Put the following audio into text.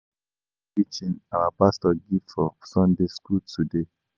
I like the preaching our pastor give for Sunday school today